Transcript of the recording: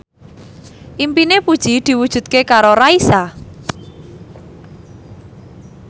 impine Puji diwujudke karo Raisa